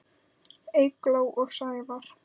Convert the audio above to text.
Eygló og Sævar.